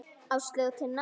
Áslaug og Tinna.